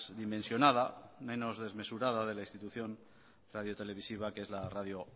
dimensionada menos desmesurada de la institución radio televisiva que es la radio